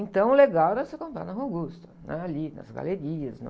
Então, o legal era você comprar na Rua Augusta, né? Ali, nas galerias...